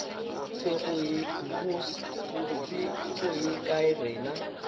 se go ye kae rena